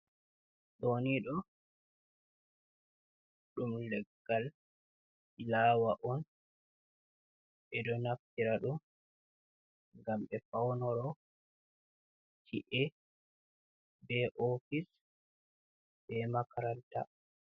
Ɗoonii ɗo ɗum leggal "filaawa" on ɓe ɗo naftira ɗum ngam ɓe fawnoro ci’e, bee "oofis", bee "Makaranta".